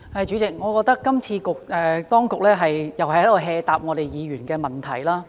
主席，我覺得當局今次又是隨便回答議員的問題。